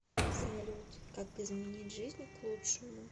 салют как изменить жизнь к лучшему